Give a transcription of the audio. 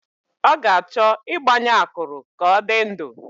Ọ ga-achọ ịgbanye akụrụ ka ọ dị ndụ